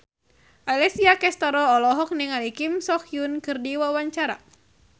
Alessia Cestaro olohok ningali Kim So Hyun keur diwawancara